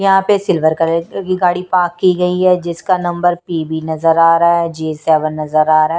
यहाँ पे silver colour की गाड़ी पार्क की गई है जिसका नंबर पी_ बी_ नजर आ रहा है जी सेवेन नजर आ रहा है।